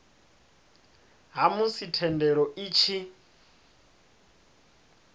ha musi thendelo i tshi